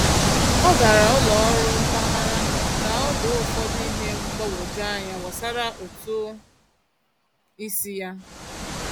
Ọ gara ụlọ ọrụ mpaghara ka o doo ụfọdụ ihe mgbagwoju anya gbasara ụtụ isi ya.